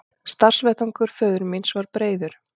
Starfsvettvangur föður míns var breiður.